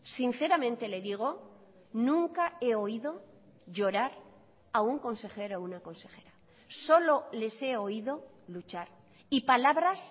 sinceramente le digo nunca he oído llorar a un consejero o una consejera solo les he oído luchar y palabras